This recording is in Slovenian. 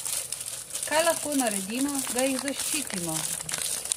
Kaj lahko naredimo, da jih zaščitimo?